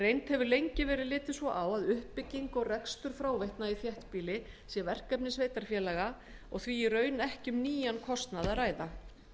reynd hefur lengi verið litið svo á að uppbygging og rekstur fráveitna í þéttbýli sé verkefni sveitarfélaga og því í raun ekki um nýjan kostnað að ræða